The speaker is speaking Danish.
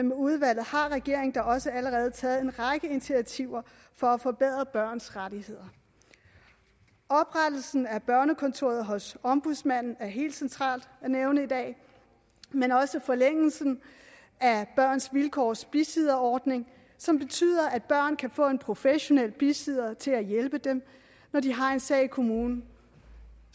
med udvalget har regeringen da også allerede taget en række initiativer for at forbedre børns rettigheder oprettelsen af et børnekontor hos ombudsmanden er helt centralt at nævne i dag men også forlængelsen af børns vilkårs bisidderordning som betyder at børn kan få en professionel bisidder til at hjælpe dem når de har en sag i kommunen